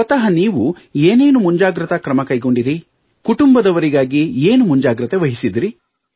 ಸ್ವತಃ ನೀವು ಏನೇನು ಮುಂಜಾಗೃತಾ ಕ್ರಮ ಕೈಗೊಂಡಿರಿ ಕುಟುಂಬದವರಿಗಾಗಿ ಏನು ಮುಂಜಾಗೃತೆ ವಹಿಸಿದಿರಿ